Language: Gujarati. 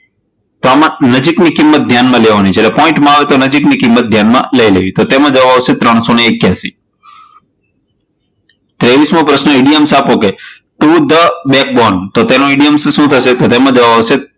તો આમા નજીકની કિંમત ધ્યાન માં લેવાની છે, એટલે કે પોઇન્ટમાં આવે તો નજીકની કિંમત ધ્યાનમાં લઈ લેવાની, તો એમાં જવાબ આવશે ત્રણસો એક્યાશી ત્રેવીસમો પ્રશ્ન, ઇડીઓમ્સ આપો to the backbone તો તેનો ઇડીઓમસ શું થશે તો તેમાં જવાબ આવશે